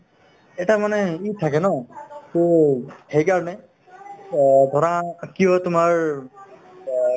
এটা মানে থাকে ন to সেইকাৰণে অ ধৰা কি হয় তোমাৰ অ